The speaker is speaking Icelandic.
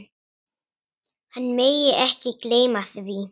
Hann megi ekki gleyma því.